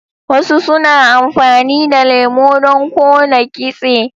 Wasu suna amfani da lemo don kona kitse.